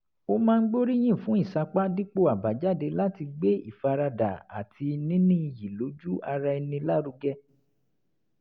ó máa ń gbóríyìn fún ìsapá dípò àbájáde láti gbé ìfaradà àti níní iyì lójú ara ẹni lárugẹ